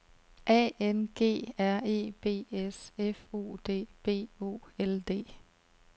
A N G R E B S F O D B O L D